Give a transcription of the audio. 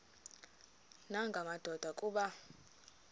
nanga madoda kuba